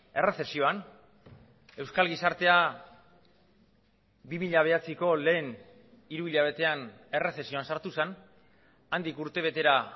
erresezioan euskal gizartea bi mila bederatziko lehen hiru hilabetean erresezioan sartu zen handik urtebetera